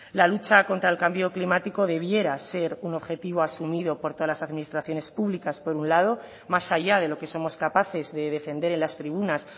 la lucha contra el cambio climático debiera ser un objetivo asumido por todas las administraciones públicas por un lado más allá de lo que somos capaces de defender en las tribunas